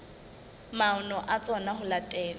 maano a tsona ho latela